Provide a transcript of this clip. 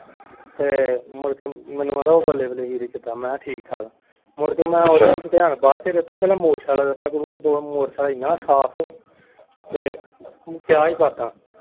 ਤੇ ਮੁੜਕੇ ਮੈਨੂੰ ਕਹਿੰਦਾ ਉਹ ਬੱਲੇ ਬੱਲੇ ਵੀਰੇ ਕਿਦਾਂ ਮੈਂ ਕਿਹਾ ਠੀਕ ਠਾਕ ਮੁੜਕੇ ਮੈਂ ਓਦੇ ਵੱਲ ਧਿਆਨ ਬਾਅਦ ਚ ਦਿੱਤਾ ਪਹਿਲਾਂ motorcycle ਦਿੱਤਾ ਗੁਰੂਆ motorcycle ਇਨ੍ਹਾਂ ਸਾਫ ਤੇ ਕਿਆ ਹੀ ਬਾਤਾਂ।